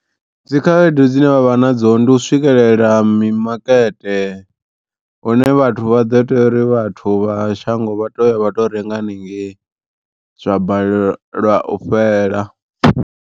Dzikhaedu dzine vha vha nadzo ndi u swikelela mimakete hune vhathu vha ḓo teya uri vhathu vha shango vha to ya vha tou renga hanengei zwa balelwa u fhela.